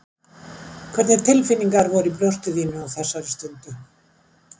Hvernig tilfinningar voru í brjósti þínu á þessari stundu?